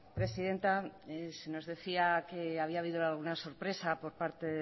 presidenta se nos decía que había habido alguna sorpresa por parte